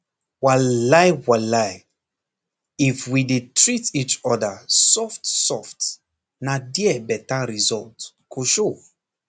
walai walai if we dey treat each other softsoft na there better result go show